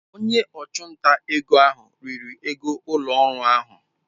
Onye ọchụnta ego ahụ riri ego ụlọ ọrụ ahụ.